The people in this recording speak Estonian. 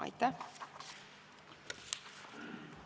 Aitäh!